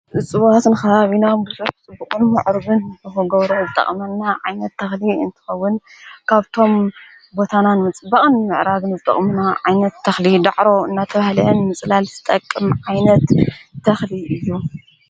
ዝጽባስንክ ብና ብዘፍ ጽብቕንዕሩብን ብሕጐውረ ዝጠቕመና ዓይነት ተኽሊ እንትኸውን ካብቶም ቦታናን ምጽባቕን ምዕራድን ዘጠቕሙና ዓይነት ተኽሊ ዳዕሮ እናቲው ሕልአን ምጽላል ስጠቅም ዓይነት ተኽሊ እዩ።